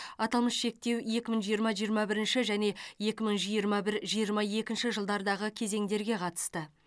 аталмыш шектеу екі мың жиырма жиырма бірінші және екі мың жиырма бір жиырма екінші жылдардағы кезеңдерге қатысты